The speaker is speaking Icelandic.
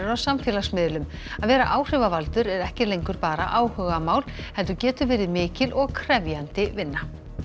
samfélagsmiðlum að vera áhrifavaldur er ekki lengur bara áhugamál heldur getur verið mikil og krefjandi vinna